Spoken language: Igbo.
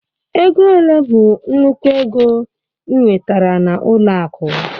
Ego ole bụ nnukwu ego ị nwetara na ọlụ akụ?